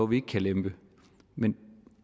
vi ikke kan lempe men